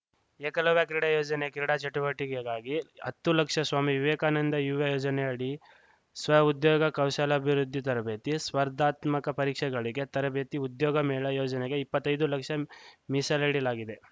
ಏಕಲವ್ಯ ಕ್ರೀಡಾ ಯೋಜನೆ ಕ್ರೀಡಾ ಚಟುವಟಿಕೆಗಾಗಿ ಹತ್ತು ಲಕ್ಷ ಸ್ವಾಮಿ ವಿವೇಕಾನಂದ ಯುವ ಯೋಜನೆಯಡಿ ಸ್ವ ಉದ್ಯೋಗ ಕೌಶಲ್ಯಾಭಿವೃದ್ಧಿ ತರಬೇತಿ ಸ್ಪರ್ಧಾತ್ಮಕ ಪರೀಕ್ಷೆಗಳಿಗೆ ತರಬೇತಿ ಉದ್ಯೋಗ ಮೇಳ ಯೋಜನೆಗೆ ಇಪ್ಪತ್ತೈದು ಲಕ್ಷ ಮೀಸಲಿಡಲಾಗಿದೆ